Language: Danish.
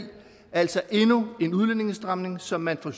altså endnu en udlændingestramning som man fra